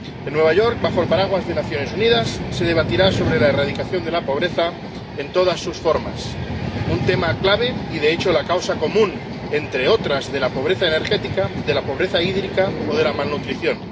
En Nueva York, bajo el paraguas de Naciones Unidas, se debatirá sobre la erradicación de la pobreza en todas sus formas, un tema clave y, de hecho, la causa común, entre otras, de la pobreza energética, de la pobreza hídrica o de la malnutrición.